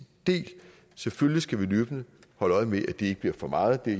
del selvfølgelig skal vi løbende holde øje med at det ikke bliver for meget det er